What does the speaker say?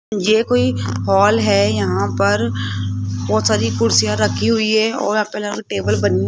ये कोई हॉल है यहां पर बहोत सारी कुर्सियां रखी हुई है और टेबल बनी --